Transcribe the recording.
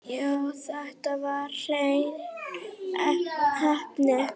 Já, þetta var hrein heppni.